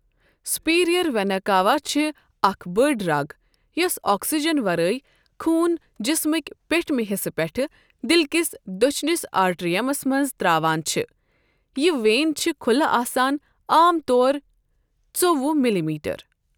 Superior vena cava چھِے اَکھ بٔڈ رَگ یۄس آکسیجن وَرٲے خون جِسمٕکۍ پیٹھمہِ حِصہٕ پؠٹھ دِلکِس دۄچھنس آرٹریَمَس مَنٛز تراوان چھِ۔ یہِ ویٖن چھِ کھُلہٕ آسان عام طور ژووُہ مِلی میٖٹر.